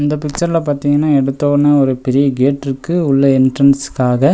இந்த பிச்சர்ல பாத்தீங்கனா எடுத்தோவுன ஒரு பெரிய கேட்ருக்கு உள்ள என்ட்ரன்ஸ்க்காக .